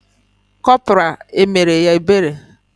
Corporal emere ya ebere?